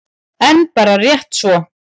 En bara rétt svo.